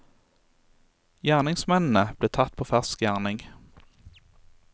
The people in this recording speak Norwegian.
Gjerningsmennene ble tatt på fersk gjerning.